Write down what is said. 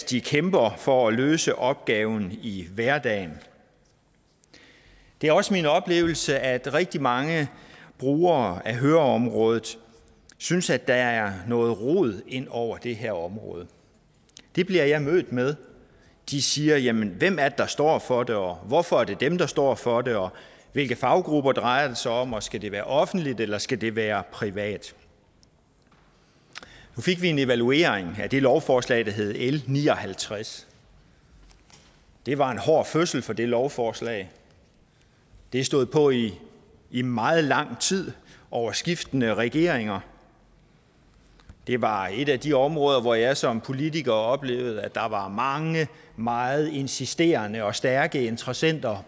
de kæmper for at løse opgaven i hverdagen det er også min oplevelse at rigtig mange brugere høreområdet synes at der er noget rod ind over det her område det bliver jeg mødt med de siger at jamen hvem er det der står for det og hvorfor er det dem der står for det og hvilke faggrupper drejer det sig om og skal det være offentligt eller skal det være privat nu fik vi en evaluering af det lovforslag der hed l ni og halvtreds det var en hård fødsel for det lovforslag det stod på i i meget lang tid over skiftende regeringer det var et af de områder hvor jeg som politiker oplevede at der var mange meget insisterende og stærke interessenter